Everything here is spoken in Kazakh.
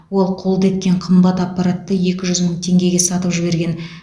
ол қолды еткен қымбат аппаратты екі жүз мың теңгеге сатып жіберген